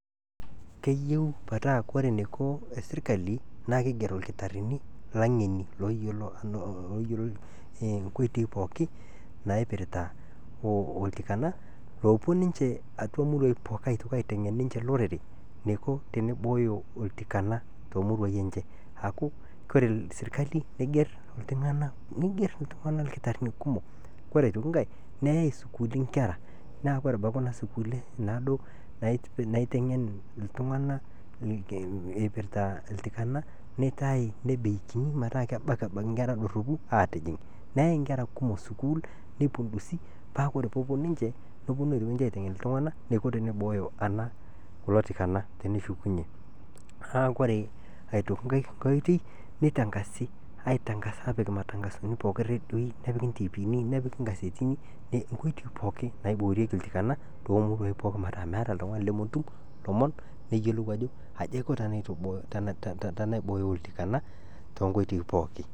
Keyeu petaa ore neiko esirikali naa keiger irkitarini ooyiolo nkoitoi pooki naipirita oltikana oopo ninche auaa muruaii pookin aitoki aitengen ninche olorere neiko teneibooyo oltikana te muruaii enche aaku koree serikali neigerr ltungana irkitarini kumok, ore aitoki inkae neyai sukuulini inkerra naaku abaki kuna sukuuli naado naitengen ltungana eipirta oltikana neeitaai nebei kinyi metaa kebaki abaki inkerra doropu aatijing',neyai inkerra kumok sukuul neipindusi paaa kore peeponu ninche neponu aitoki ninche aitengen ltunganak neiko teneibooyo ana kulo tikana teneshukunye. Naaku ore aitoki inkae oitoi neitangasi, aitangas aapik matangasoni pooki eredioii nepiki intipiini, nepiki inkasetini inkoitoi pooki naiboorieki oltikana too muruaii pookin metaa meatai oltungani lemotum lomon neyiolou ajo aji aiko tenaibooyo oltikana too nkoitoi pooki.